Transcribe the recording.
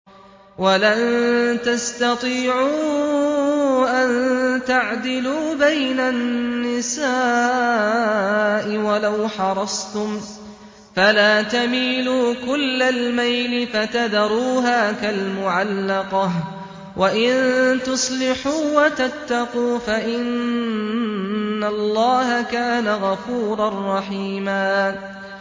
وَلَن تَسْتَطِيعُوا أَن تَعْدِلُوا بَيْنَ النِّسَاءِ وَلَوْ حَرَصْتُمْ ۖ فَلَا تَمِيلُوا كُلَّ الْمَيْلِ فَتَذَرُوهَا كَالْمُعَلَّقَةِ ۚ وَإِن تُصْلِحُوا وَتَتَّقُوا فَإِنَّ اللَّهَ كَانَ غَفُورًا رَّحِيمًا